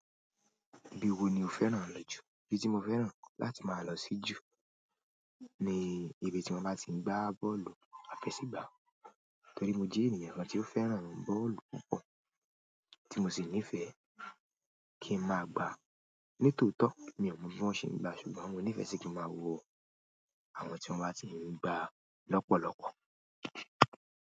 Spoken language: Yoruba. Bi i wo ni o fẹ́ràn lọ jù? Ibi ti mo fẹ́ràn láti máa lọ sí jù ni ibi tí mo máa ti ń gbá bọ́ọ̀lù àfẹsẹ̀gbá. Torí mo jẹ́ ènìyàn kan tí ó fẹ́ràn bọ́ọ̀lù púpọ̀, tí mo sì nífẹ̀ẹ́ kí ń máa gbá. Ní tòótọ́ mi ò mọ bí wọ́n ṣe ń gbá, ṣùgbọ́n mo nífẹ̀ẹ́ sí kí máa wo àwọn tí wọ́n máa ti ń gbá lọ́pọ̀lọpọ̀.